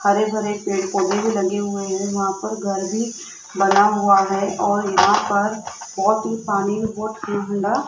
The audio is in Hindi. हरे भरे पेड़ पौधे भी लगे हुए हैं वहां पर घर भी बना हुआ है और यहां पर बहोत ही पानी बहोत ही गंदा --